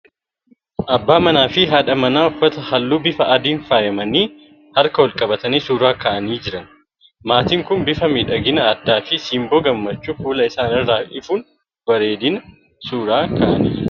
Abbaa manaa fi haadha manaa uffata halluu bifa adiin faayamanii harka wal-qabatanii suuraa ka'anii jiran. Maatiin kun bifa miidhagina addaa fi simboo gammachuu fuula isaanii irraa ifuun bareedanii suuraa ka'anii jiru.